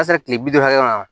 tile bi duuru hakɛ min na